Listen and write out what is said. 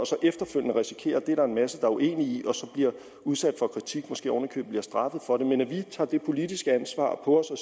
så efterfølgende risikerer at det er der en masse der er uenige i og bliver udsat for kritik og måske oven i købet bliver straffet for det men vi skal tage det politiske ansvar på os og